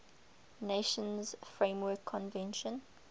nations framework convention